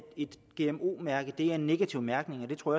et gmo mærke er en negativ mærkning og jeg tror